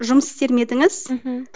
жұмыс істер ме едіңіз мхм